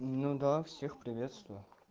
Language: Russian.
ну да всех приветствую